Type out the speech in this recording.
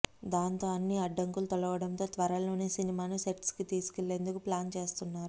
దాంతో అన్ని అడ్డంకులు తొలగడంతో త్వరలోనే సినిమాను సెట్స్పైకి తీసుకెళ్లేందుకు ప్లాన్ చేస్తున్నారు